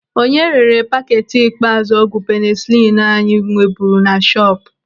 Onye rere paketi ikpeazụ ọgwụ penisilinu anyị nweburu na shọpu?